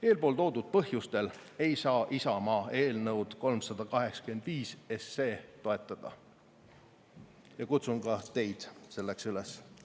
Eeltoodud põhjustel ei saa Isamaa eelnõu 385 toetada ja kutsun ka teid selleks üles.